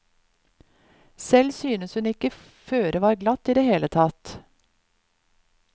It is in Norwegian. Selv synes hun ikke føret var glatt i det hele tatt.